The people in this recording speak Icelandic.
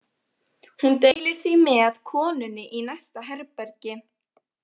Hún deilir því með konunni í næsta herbergi.